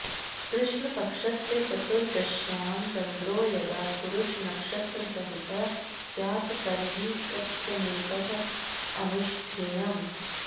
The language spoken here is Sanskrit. कृष्णपक्षस्य चतुर्दश्यां चन्द्रो यदा पुरुषनक्षत्रसहितः स्यात् तर्हि कृत्यमेतत् अनुष्ठेयम्